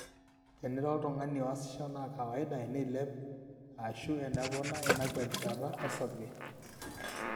tenira oltung'ani oasisho naa kawaida eneilep aashu enepona ina kwetata osarge